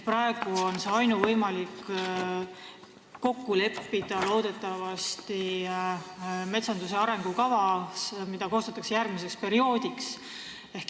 Praegu on ainuvõimalik see kokku leppida metsanduse arengukavas, mida koostatakse järgmiseks perioodiks.